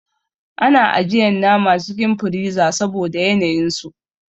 Ana ajiyan nama cikin friza saboda yanayin su.